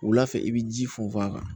Wula fɛ i bi ji funfun a kan